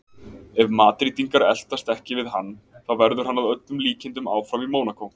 Ef Madrídingar eltast ekki við hann þá verður hann að öllum líkindum áfram í Mónakó.